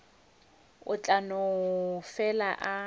o tla no fela a